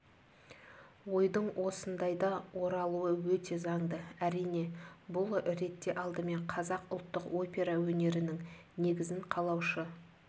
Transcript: ойдың осындайда оралуы өте заңды әрине бұл ретте алдымен қазақ ұлттық опера өнерінің негізін қалаушы